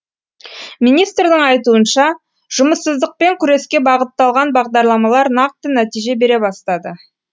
министрдің айтуынша жұмыссыздықпен күреске бағытталған бағдарламалар нақты нәтиже бере бастады